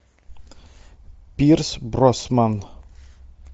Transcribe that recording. пирс броснан